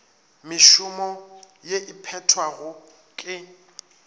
mešomo ye e phethwago ke